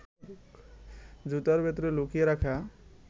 জুতার ভেতরে লুকিয়ে রাখা